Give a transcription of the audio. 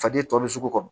Faden tomi sugu kɔnɔ